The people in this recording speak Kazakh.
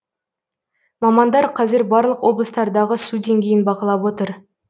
мамандар қазір барлық облыстардағы су деңгейін бақылап отыр